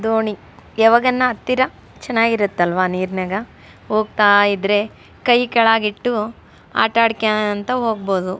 ದೋಣಿ ಯಾವಾಗನ ಹತ್ತಿರ ಚೆನ್ನಾಗಿರುತ್ತಲ್ವಾ ನೀರ್ನಾಗ ಹೋಗ್ತಾ ಇದ್ರೆ ಕೈ ಕೆಳಗಿಟ್ಟು ಆಟಾಡ್ಕ್ಯಾಂತ ಓಗ್ಬೋದು.